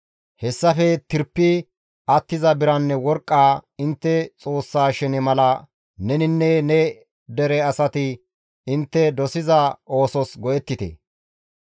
Hessafe tirpi attiza biranne worqqaa intte Xoossa shene mala neninne ne dere asati intte dosiza oosos go7ettite.